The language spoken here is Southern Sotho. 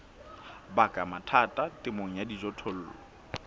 baka mathata temong ya dijothollo